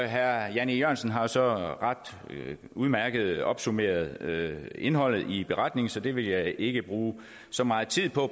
herre jan e jørgensen har så udmærket opsummeret indholdet i beretningen så det vil jeg ikke bruge så meget tid på